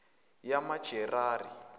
yamajerari